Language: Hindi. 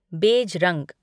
बेज रंग